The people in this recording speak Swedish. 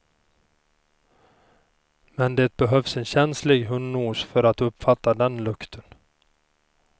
Men det behövs en känslig hundnos för att uppfatta den lukten.